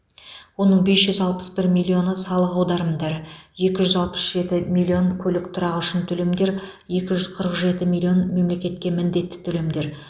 оның бес жүз алпыс бір миллионы салық аударымдары екі жүз алпыс жеті миллион көлік тұрағы үшін төлемдер екі жүз қырық жеті миллион мемлекетке міндетті төлемдер